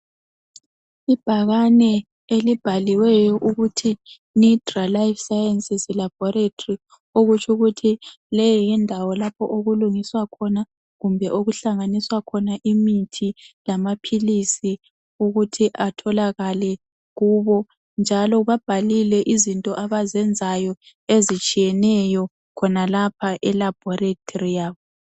ibhakane elibhaliwe lidra life science laboratory ukuthi okutsho ukuthi leyi yindawo lapho okulungiswa khona kumbe okuhlanganiswa khona imithi lamaphilisi ukuthi atholakale kubo njalo babhalile izinto abazenzayo ezitshiyeneyo khonapha e laboratory yabo